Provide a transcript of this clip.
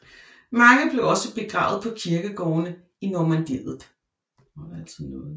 Mange blev også begravet på kirkegårdene i Normandiet